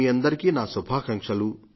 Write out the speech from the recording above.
మీ అందరికీ నా శుభాకాంక్షలు